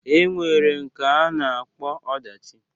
E nwere nke a na-akpọ ọdachi.